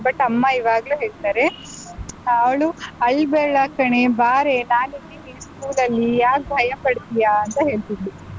But ಅಮ್ಮ ಈವಾಗ್ಲೂ ಹೇಳ್ತಾರೆ, ಆಹ್ ಅವ್ಳು ಅಳ್ಬೇಡ ಕಣೇ, ಬಾರೇ ನಾನಿದ್ದೀನಿ school ಅಲ್ಲಿ ಯಾಕ್ ಭಯಪಡ್ತೀಯಾಂತ ಹೇಳ್ತಿದ್ಲು.